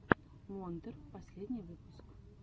монтер последний выпуск